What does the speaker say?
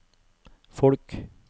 folk